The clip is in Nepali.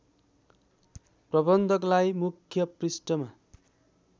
प्रबन्धकलाई मुख्य पृष्ठमा